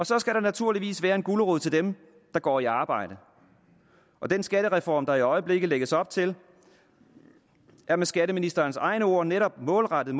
så skal der naturligvis være en gulerod til dem der går i arbejde og den skattereform der i øjeblikket lægges op til er med skatteministerens egne ord netop målrettet